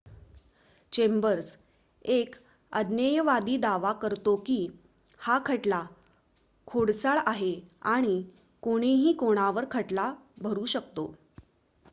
"Chambers एक अज्ञेयवादी दावा करतो की हा खटला "खोडसाळ" आहे आणि "कोणीही कोणावर खटला भरु शकतो.""